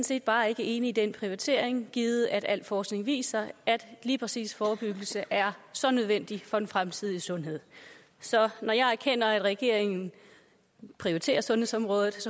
set bare ikke enig i den prioritering givet at al forskning viser at lige præcis forebyggelse er så nødvendig for den fremtidige sundhed så når jeg erkender at regeringen prioriterer sundhedsområdet